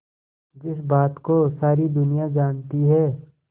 जिस बात को सारी दुनिया जानती है